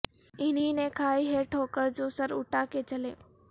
انہیں نے کھائی ہے ٹھوکر جو سر اٹھا کے چلے